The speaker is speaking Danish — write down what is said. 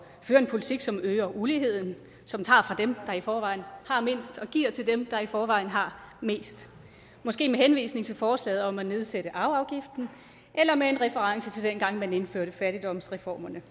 at føre en politik som øger uligheden som tager fra dem der i forvejen har mindst og giver til dem der i forvejen har mest måske med henvisning til forslaget om at nedsætte arveafgiften eller med en reference til dengang man indførte fattigdomsreformerne